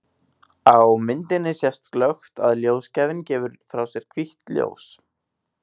Á myndinni sést glöggt að ljósgjafinn gefur frá sér hvítt ljós.